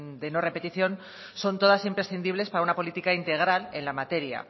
de no repetición son todas imprescindibles para una política integral en la materia